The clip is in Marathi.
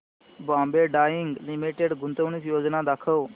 बॉम्बे डाईंग लिमिटेड गुंतवणूक योजना दाखव